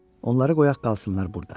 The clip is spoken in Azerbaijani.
Onları qoyaq qalsınlar burda.